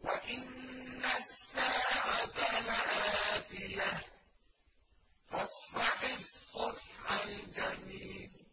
وَإِنَّ السَّاعَةَ لَآتِيَةٌ ۖ فَاصْفَحِ الصَّفْحَ الْجَمِيلَ